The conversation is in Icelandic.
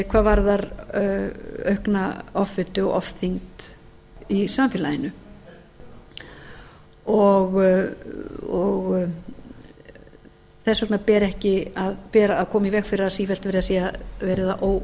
hvað varðar aukna offitu og ofþyngd í samfélaginu þess vegna ber að koma í veg fyrir það að sífellt sé verið